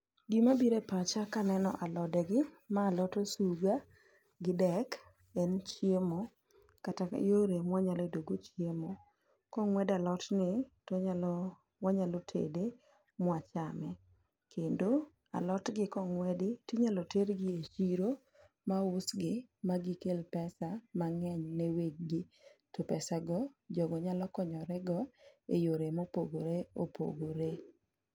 Gima bire pacha kaneno alode gi, ma alot osuga gi dek en chiemo kata yore mwanya yudo go chiemo. Kong'wed alotni to onyalo, wanyalo tede mwachame. Kendo alotgi kong'wedi tinyalo ter gi e chiro, ma usgi ma gikel pesa mang'eny ne weg gi. To pesa go jogo nyalo konyore go e yore mopogore opogore.